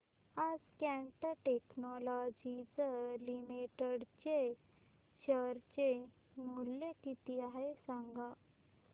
आज Cat technologies limited चे share चे मूल्य किती आहे सांगा